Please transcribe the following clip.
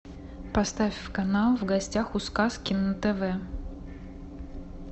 поставь канал в гостях у сказки на тв